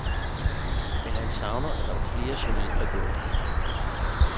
Men han savner, at der var flere journalister, som gjorde det.